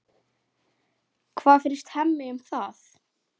Hvað finnst Heimi um það?